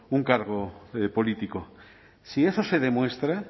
un cargo político si eso se demuestra